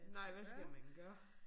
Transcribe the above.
Nej hvad skal man gøre?